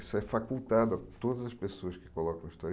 Isso é facultado a todas as pessoas que colocam a história.